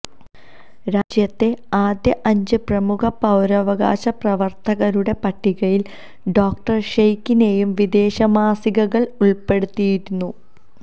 രാജ്യത്തെ അദ്യ അഞ്ച് പ്രമുഖ പൌരവകാശ പ്രവർത്തകരുടെ പട്ടികയിൽ ഡോക്ടർ ഷെയ്കിനെയും വിദേശമാസികകൾ ഉൾപ്പെടുത്തിയിരുന്നു